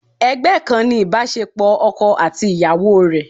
Ẹgbẹ́ kan ni ibasepo ọkọ àti ìyàwó rẹ.